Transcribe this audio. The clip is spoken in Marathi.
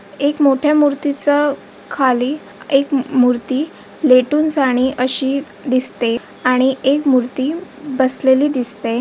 एक मोठ्या मूर्तीचं खाली एक मूर्ती लेटून जाणे अशी दिसते आणि एक मूर्ती बसलेली दिसते.